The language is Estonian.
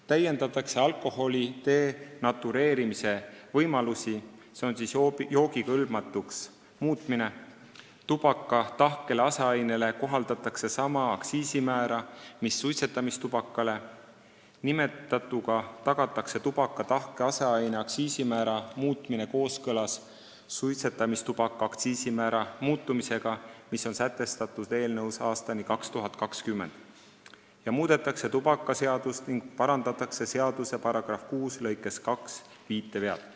Täiendatakse alkoholi denatureerimise ehk joogikõlbmatuks muutmise võimalusi, tubaka tahkele aseainele hakatakse kohaldama sama aktsiisimäära mis suitsetamistubakale , muudetakse tubakaseadust ning seaduse § 6 lõikes 2 parandatakse viitevead.